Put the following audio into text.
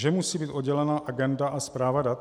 Že musí být oddělena agenda a správa dat?